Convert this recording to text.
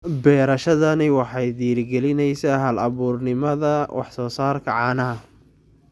Beerashadani waxay dhiirigelinaysaa hal-abuurnimada wax-soo-saarka caanaha.